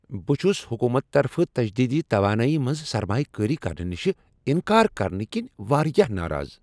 بہٕ چھس حکومتہٕ طرفہٕ تجدیدی توانایی منٛز سرمایہ کٲری کرنہٕ نش انکار کرنہٕ كِنہِ واریاہ ناراض۔